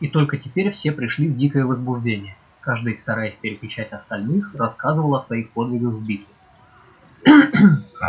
и только теперь все пришли в дикое возбуждение каждый стараясь перекричать остальных рассказывал о своих подвигах в битве